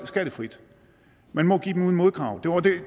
skattefrit man må give dem uden modkrav det var det